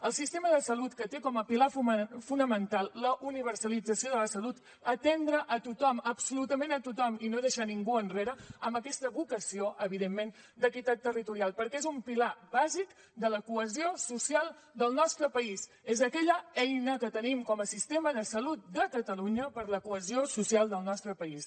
el sistema de salut que té com a pilar fonamental la universalització de la salut atendre a tothom absolutament a tothom i no deixar ningú enrere amb aquesta vocació evidentment d’equitat territorial perquè és un pilar bàsic de la cohesió social del nostre país és aquella eina que tenim com a sistema de salut de catalunya per la cohesió social del nostre país